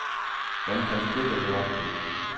Hvem kan stikke det opbud.